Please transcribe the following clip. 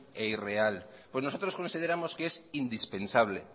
e irreal pues nosotros consideramos que es indispensable